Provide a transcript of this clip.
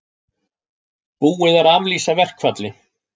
Búið er að aflýsa verkfalli